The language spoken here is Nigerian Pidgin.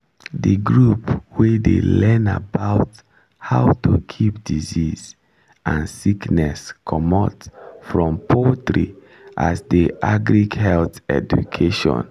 the group wey dey learn about how to keep disease and sickness comot from poultry as der agric-health education